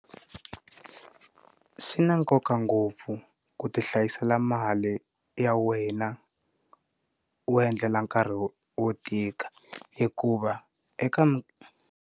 Swi na nkoka ngopfu ku ti hlayisela mali ya wena u endlela nkarhi wo wo tika hikuva eka mi.